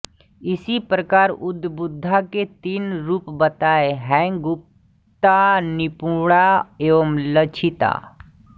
इसी प्रकार उद्बुद्धा के तीन रूप बताये हैंगुप्ता निपुणा एवं लक्षिता